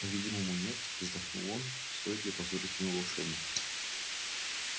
по видимому нет вздохнул он стоит ли позорить имя волшебника